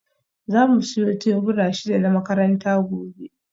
Za mu siyo tebura shida na makaranta gobe